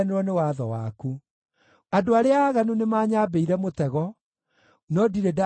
Andũ arĩa aaganu nĩmanyambĩire mũtego, no ndirĩ ndahĩtia kĩrĩra gĩaku.